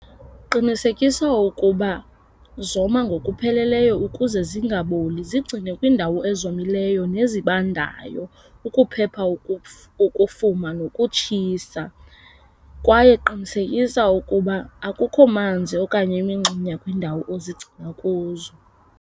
Qinisekisa ukuba zoma ngokupheleleyo ukuze zingaboli. Zigcine kwiindawo ezomileyo nezibandayo ukuphepha ukufuma nokutshisa kwaye qinisekisa ukuba akukho manzi okanye imingxunya kwiindawo ozigcina kuzo.